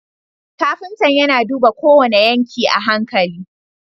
Kafinta yAna duba kowane yanki a hankali